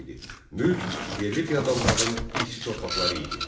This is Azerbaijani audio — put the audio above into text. Mülk yerli feodalların irsi torpaqları idi.